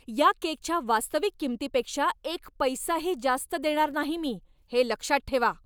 या केकच्या वास्तविक किंमतीपेक्षा एक पैसाही जास्त देणार नाही मी! हे लक्षात ठेवा!